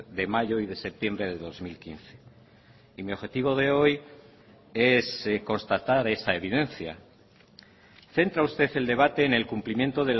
de mayo y de septiembre de dos mil quince y mi objetivo de hoy es constatar esa evidencia centra usted el debate en el cumplimiento